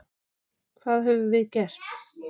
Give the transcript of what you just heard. Hvað höfum við gert?